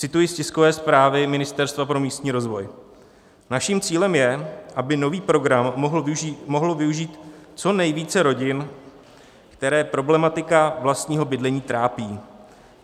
Cituji z tiskové zprávy Ministerstva pro místní rozvoj: "Naším cílem je, aby nový program mohlo využít co nejvíce rodin, které problematika vlastního bydlení trápí.